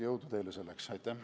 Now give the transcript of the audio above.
Jõudu teile selleks!